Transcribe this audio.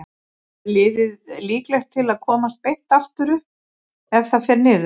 Er liðið líklegt til að komast beint aftur upp ef það fer niður?